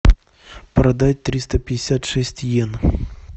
продать триста пятьдесят шесть иен